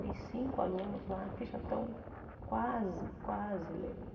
Tem cinco alunos lá que já estão quase, quase lendo.